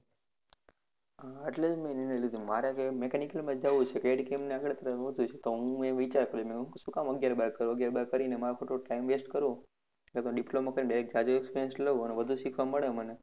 એટલે જ મેં નિર્ણય લીધો મારે જે mechanical માં જ જવું છે, CADCAM માં જ આગળ વધવું છે, તો હું એ વિચાર કર્યો, શું કામ આગિયાર બાર કરવું, આગિયાર બાર કરીને મારે ખોટો time waste કરવો, એ કરતા diploma કરીને direct જાજો experience લેવું અને વધુ શીખવા મળે મને